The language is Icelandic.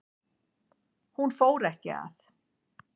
Hún fór ekki að